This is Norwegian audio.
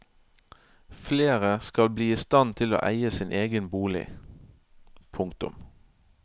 Flere skal bli i stand til å eie sin egen bolig. punktum